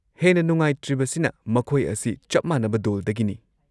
-ꯍꯦꯟꯅ ꯅꯨꯡꯉꯥꯏꯇ꯭ꯔꯤꯕꯁꯤꯅ ꯃꯈꯣꯏ ꯑꯁꯤ ꯆꯞ ꯃꯥꯟꯅꯕ ꯗꯣꯜꯗꯒꯤꯅꯤ ꯫